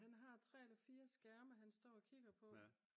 han har 3 eller 4 skærme han står og kigger på